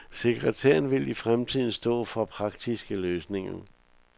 Sekretæren vil i fremtiden stå for praktiske løsninger.